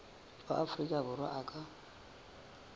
wa afrika borwa a ka